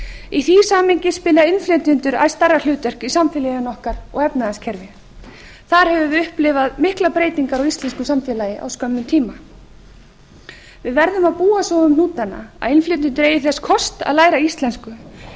í því samhengi spila innflytjendur æ stærra hlutverk í samfélaginu okkar og efnahagskerfi þar höfum við upplifað miklar breytingar á íslensku samfélagi á skömmum tíma við verðum að búa svo um hnútana að innflytjendur eigi þess kost að læra íslensku